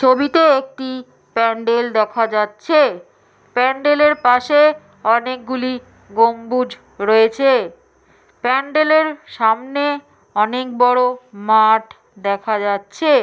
ছবিতে একটি প্যান্ডেল দেখা যাচ্ছে। প্যান্ডেলের পাশে অনেকগুলি গম্বুজ রয়েছে। প্যান্ডেলের সামনে অনেক বড় মাঠ দেখা যাচ্ছে।